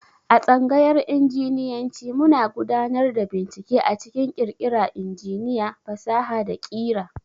A tsangayar Injinyanci muna gudanar da bincike a cikin ƙirƙira injiniya, fasaha, da ƙira.